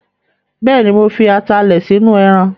Bẹ́ẹ̀ni, mo fi atalẹ̀ sínú ẹran